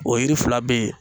O yiri fila be ye.